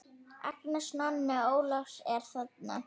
Agnes, Nonni Ólafs er þarna!